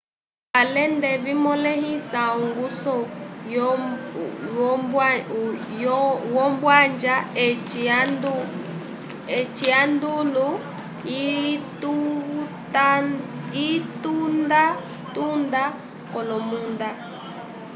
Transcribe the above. alende vimõlehisa ongusu wombwanja eci ondalu yitundatunda k'olomunda